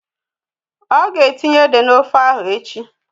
Ọ̀ ga etinye ede n'ofe ahụ echi